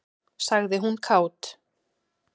sagði hún kát.